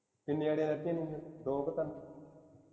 ਕਿੰਨੀ ਆਈਡੀਆਂ ਨੀ ਦੋ ਕੁ ਤਿੰਨ